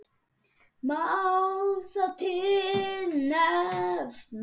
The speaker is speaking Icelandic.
Má þar til nefna